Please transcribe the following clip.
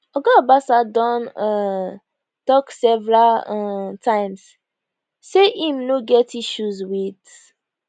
oga obasa don um tok several um times say im no get issues wit